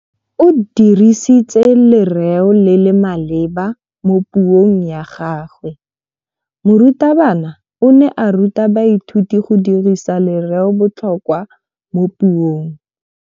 O dirisitse lerêo le le maleba mo puông ya gagwe. Morutabana o ne a ruta baithuti go dirisa lêrêôbotlhôkwa mo puong.